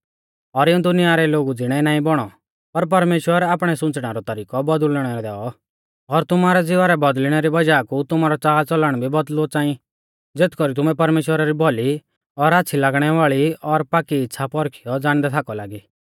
और इऊं दुनिया रै लोगु ज़िणै नाईं बौणौ पर परमेश्‍वर आपणै सुंच़णै रौ तरिकौ बौदुल़णै दैऔ और तुमारौ ज़िवा रै बौदल़िणै री वज़ाह कु तुमारौ च़ालच़लण भी बौदल़ुऔ च़ांई ज़ेथ कौरी तुमै परमेश्‍वरा री भौली और आच़्छ़ी लागणै वाल़ी और पाकी इच़्छ़ा पौरखियौ ज़ाणदै थाकौ लागी